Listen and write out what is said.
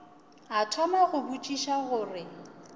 a thoma go botšiša gore